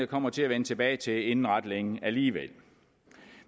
kommer til at vende tilbage til inden ret længe alligevel